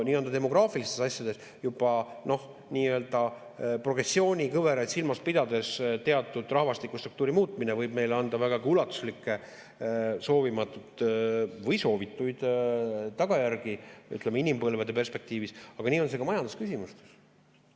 Nii-öelda demograafilistes asjades juba progressioonikõveraid silmas pidades teatud rahvastikustruktuuri muutmine võib meile anda vägagi ulatuslikke soovimatuid või soovitud tagajärgi, ütleme, inimpõlvede perspektiivis, aga nii on see ka majandusküsimustes.